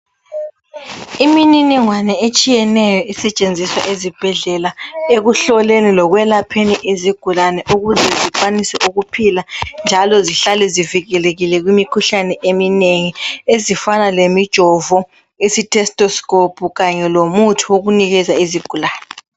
Imininingwane etshiyeneyo isetshenziswa ezibhedlela ekuhloleni lokwelapheni izigulani ukuze zikwanise ukuphila njalo zihlale zivikelekile kumikhuhlane eminengi ezifana lomi jovo istethoskopu kanye lomuthi wokunikeza izigulani